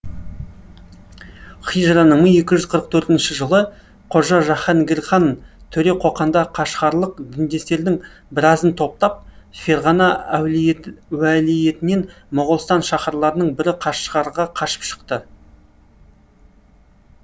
хижраның мың екі жүз қырық төртінші жылы қожа жаһангірхан төре қоқанда қашғарлық діндестердің біразын топтап ферғана уәлиетінен моғолстан шаһарларының бірі қашғарға қашып шықты